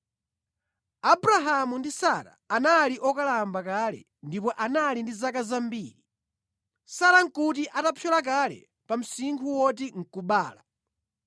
Abrahamu ndi Sara anali okalamba kale ndipo anali ndi zaka zambiri. Sara nʼkuti atapyola kale pa msinkhu oti nʼkubereka.